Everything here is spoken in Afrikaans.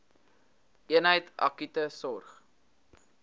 eenheid akute sorg